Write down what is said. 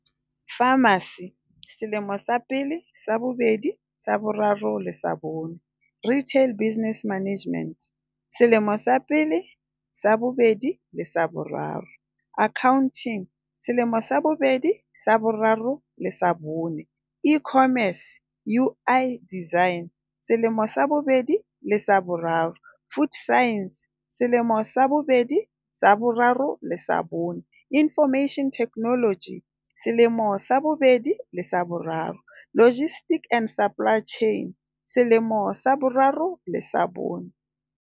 Pharmacy- selemo sa pele, sa bobedi, sa bo raro le sa bone. Retail business management- selemo sa pele, sa bobedi le sa boraro. Accounting- selemo sa bobedi, sa boraro le sa bone. E-commerce. UI design- selemo sa bobedi le sa boraro. Food sciences- selemo sa bobedi, sa boraro le sa bone. Information technology- selemo sa bobedi le sa boraro. Logistics and supply chain- selemo sa boraro le sa bone.